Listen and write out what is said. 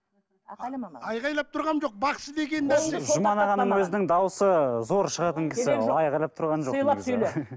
айқайлама маған айқайлап тұраным жоқ бақсы деген нәрсе жұман ағаның өзінің дауысы зор шығатын кісі